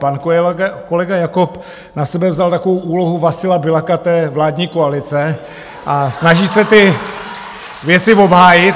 Pan kolega Jakob na sebe vzal takovou úlohu Vasila Biľaka té vládní koalice a snaží se ty věci obhájit.